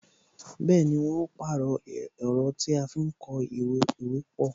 Bẹẹni, wọn ó pàrọ̀ ẹ̀rọ tí a fi ń kó ìwé pọ